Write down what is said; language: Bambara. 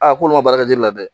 Aa ko n'u ma baara kɛ ji la dɛ